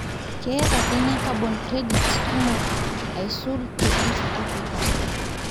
keeta kenya carbon credits kumok aisul te east africa